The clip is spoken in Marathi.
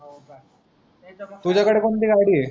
तुझ्या कडे कोणती गाडी आहे